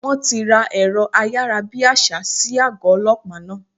Wón ti ra èrọ ayárabíàṣá sí àgọ́ Ọlọ́pàá náà.